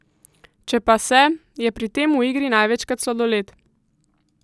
Če pa se, je pri tem v igri največkrat sladoled.